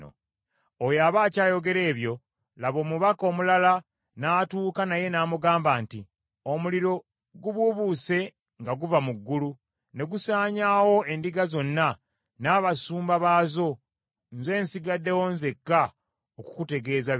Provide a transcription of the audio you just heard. Oyo aba akyayogera ebyo, laba, omubaka omulala n’atuuka naye n’amugamba nti, “Omuliro gubuubuuse nga guva mu ggulu ne gusaanyaawo endiga zonna n’abasumba baazo, nze nsigaddewo nzekka okukutegeeza bino.”